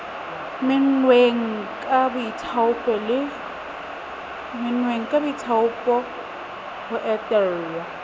menngweng ka boithaopo ho etella